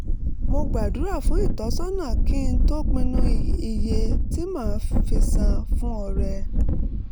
mo gbàdúrà fún ìtọ́sọ́nà kí n tó pinnu iye tí màá fi san fún ọrẹ